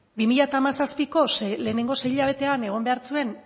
bi mila hamazazpiko lehenengo sei hilabetean egon behar zuen